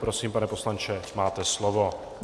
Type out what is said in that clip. Prosím, pane poslanče, máte slovo.